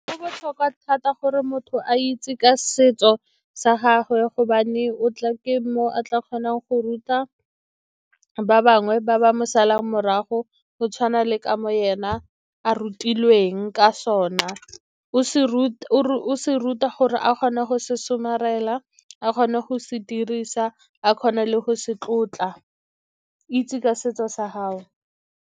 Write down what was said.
Go botlhokwa thata gore motho a itse ka setso sa gagwe, gobane ke mo o a tla kgonang go ruta ba bangwe ba ba mo salang morago, go tshwana le ka mo ene a rutilwe ka sona. O se ruta gore a kgone go se somarela, a kgone go se dirisa, a kgone le go se tlotla. Itse ka setso sa gago.